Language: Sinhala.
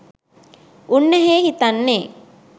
උන්නැහේ හිතන්නේ